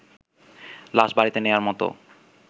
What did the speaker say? লাশ বাড়িতে নেয়ার মতো